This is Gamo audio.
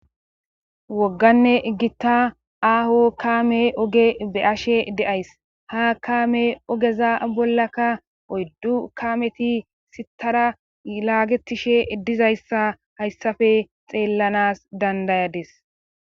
wogganne gitta aaho kaame oge be ashe de7ays ha kaame ogeza bollaka oyddu kameti sitara laagetishe dizayssa hayssafe xeellanas dandayades